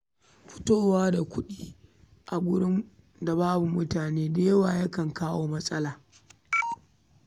Fito da kuɗi a wurin da babu mutane da yawa ya kan iya jawo matsala.